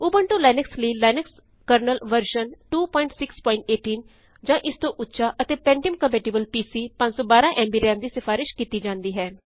Ubuntu Linux ਲਈ Linux kernel version 2618 ਜਾਂ ਇਸ ਤੋ ਉੱਚਾ ਅਤੇ pentium compatible PC 512 MB RAM ਦੀ ਸਿਫ਼ਾਰਿਸ਼ ਕੀਤੀ ਜਾਂਦੀ ਹੈ